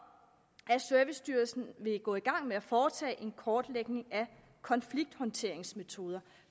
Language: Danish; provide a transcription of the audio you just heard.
at servicestyrelsen vil gå i gang med at foretage en kortlægning af konflikthåndteringsmetoder